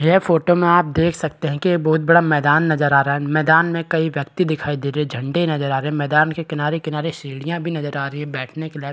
यह फोटो में आप देख सकते है की ये बहुत बड़ा मैदान नज़र आ रहा है मैदान में कई व्यक्ति दिखाई दे रहे है झंडे नज़र आ रहे मैदान के किनारे किनारे सीढ़िया भी नज़र आ रही बैठने के लिए--